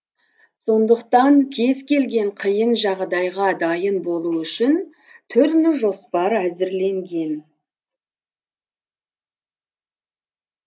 сондықтан кез келген қиын жағдайға дайын болу үшін түрлі жоспар әзірленген